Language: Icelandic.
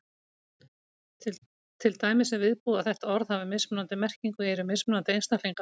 Til dæmis er viðbúið að þetta orð hafi mismunandi merkingu í eyrum mismunandi einstaklinga.